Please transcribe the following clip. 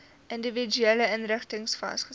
individuele inrigtings vasgestel